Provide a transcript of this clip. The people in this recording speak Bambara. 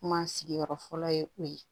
Kuma sigiyɔrɔ fɔlɔ ye o ye